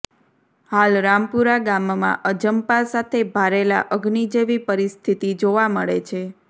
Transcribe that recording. હાલ રામપુરા ગામમાં અજંપા સાથે ભારેલા અગ્નિ જેવી પરિસ્થિતિ જોવાં મળે છે